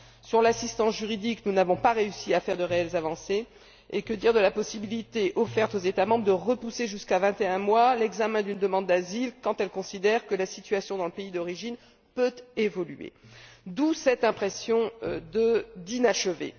S'agissant de l'assistance juridique, nous n'avons pas réussi à faire de réelles avancées, et que dire de la possibilité offerte aux États membres de repousser jusqu'à 21 mois l'examen d'une demande d'asile quand ils considèrent que la situation dans le pays d'origine peut évoluer? D'où cette impression d'inachevé.